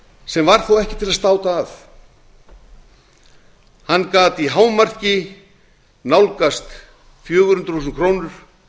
sem var þó ekki til að státa af hann gat í hámarki nálgast fjögur hundruð þúsund krónur